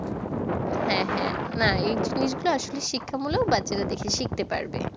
হ্যাঁ হ্যাঁ। না এই জিনিসগুলো আসলে শিক্ষামূলক। বাচ্চারা দেখে শিখতে পারবে।